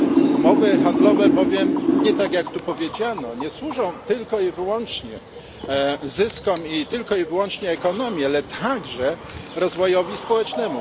Umowy handlowe bowiem nie tak, jak tu powiedziano nie służą tylko i wyłącznie zyskom, i tylko i wyłącznie ekonomii, ale także rozwojowi społecznemu.